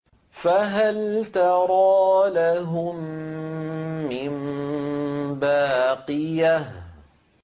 فَهَلْ تَرَىٰ لَهُم مِّن بَاقِيَةٍ